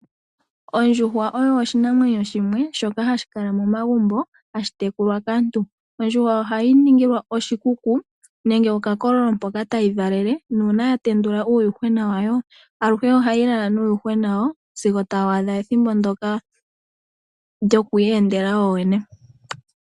Ondjuhwa oyo oshinamwenyo shimwe shoka hashi kala momagumbo, hashi tekulwa kaantu. Ondjuhwa ohayi ninilwa oshikuku, nenge okakololo mpoka tayi valele, nuuna ya tendula uuyuhwena wayo, aluhe ohayi lala nuuyuhwena wawo, sigo tawu adha ethimbo ndyoka lyoku iyendela woowene.